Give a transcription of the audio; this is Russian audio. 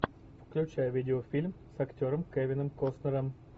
включай видеофильм с актером кевином костнером